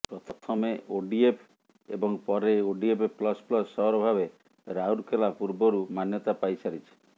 ପ୍ରଥମେ ଓଡ଼ିଏଫ ଏବଂ ପରେ ଓଡ଼ିଏଫ ପ୍ଲସ ପ୍ଲସ ସହର ଭାବେ ରାଉରକେଲା ପୂର୍ବରୁ ମାନ୍ୟତା ପାଇସାରିଛି